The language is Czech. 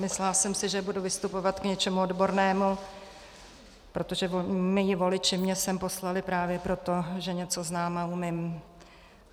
Myslela jsem si, že budu vystupovat k něčemu odbornému, protože mí voliči mě sem poslali právě proto, že něco znám a umím.